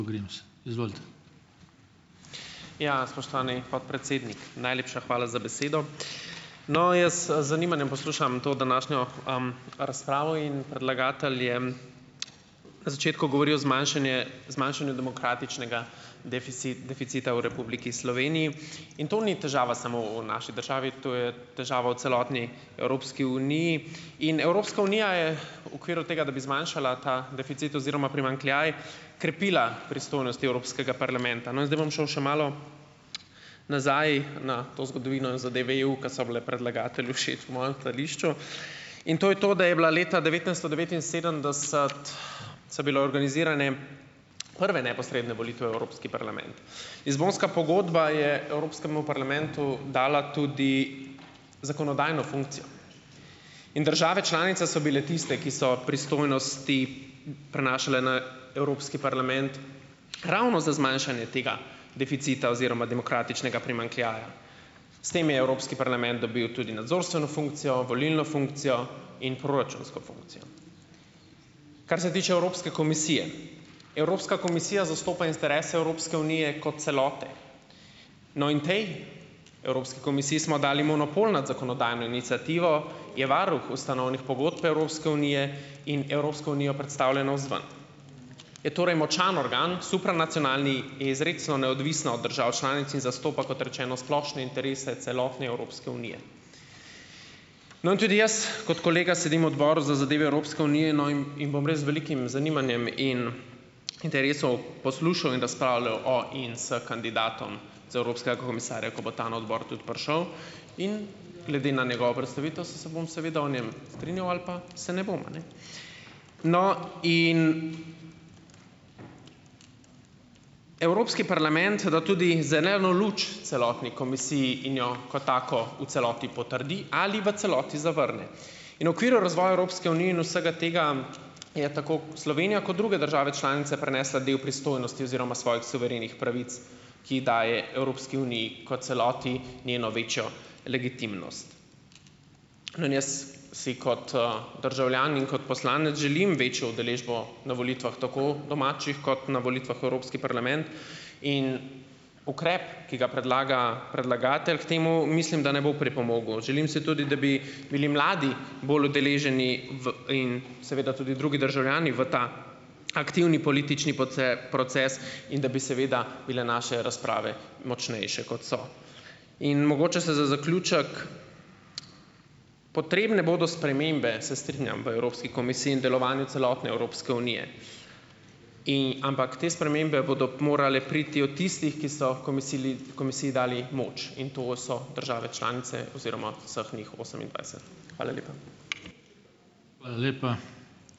Ja. Spoštovani podpredsednik, najlepša hvala za besedo. No, jaz, z zanimanjem poslušam to današnjo, razpravo in predlagatelj je, na začetku govoril o zmanjšanje zmanjšanju demokratičnega deficita v Republiki Sloveniji. In to ni težava samo v naši državi, to je težava v celotni Evropski uniji. In Evropska unija je v okviru tega, da bi zmanjšala ta deficit oziroma primanjkljaj, krepila pristojnosti Evropskega parlamenta. No, in zdaj bom šel še malo, nazaj na to zgodovino zadev EU, ki so bile predlagatelju všeč v mojem stališču. In to je to, da je bila leta devetnajststo devetinsedemdeset so bile organizirane, prve neposredne volitve v Evropski parlament. Lizbonska pogodba je Evropskemu parlamentu dala tudi zakonodajno funkcijo. In države članice so bile tiste, ki so pristojnosti prenašale na Evropski parlament ravno za zmanjšanje tega deficita oziroma demokratičnega primanjkljaja. S tem je Evropski parlament dobil tudi nadzorstveno funkcijo, volilno funkcijo in proračunsko funkcijo. Kar se tiče Evropske komisije. Evropska komisija zastopa interese Evropske unije kot celote. No, in potem Evropski komisiji smo dali monopol nad zakonodajno iniciativo, je varuh ustanovnih pogodb Evropske unije in Evropsko unijo predstavlja navzven. Je torej močan organ, supernacionalni, in izrecno neodvisna od držav članic in zastopa, kot rečeno, splošne interese celotne Evropske unije. No, in tudi jaz, kot kolega, sedim v Odboru za zadeve Evropske unije, no, in in bom res z velikim zanimanjem in, interesom poslušal in razpravljal o in s kandidatom za evropskega komisarja, ko bo ta na odbor tudi prišel. In glede na njegovo predstavitev se bom seveda o njem strinjal ali pa se ne bom, a ne, no, in. Evropski parlament da tudi zeleno luč celotni komisiji in jo kot tako v celoti potrdi ali v celoti zavrne. In v okviru razvoja Evropske unije in vsega tega je tako Slovenija kot druge države članice prenesla del pristojnosti oziroma svojih suverenih pravic, ki daje Evropski uniji kot celoti njeno večjo legitimnost. No, in jaz si kot, državljan in kot poslanec želim večjo udeležbo na volitvah, tako domačih kot na volitvah v Evropski parlament, in ukrep, ki ga predlaga predlagatelj, k temu mislim, ne bo pripomogel. Želim si tudi, da bi bili mladi bolj udeleženi, v in seveda tudi drugi državljani, v ta aktivni politični proces in da bi seveda bile naše razprave močnejše, kot so. In mogoče se za zaključek, Potrebne bodo spremembe, se strinjam, v Evropski komisiji in delovanju celotne Evropske unije, ampak te spremembe bodo morale priti od tistih, ki so komisili komisiji dali moč, in to so države članice oziroma vseh njih osemindvajset. Hvala lepa.